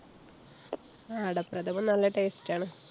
ആഹ് അടപ്രഥമന്‍ നല്ല taste ആണ്.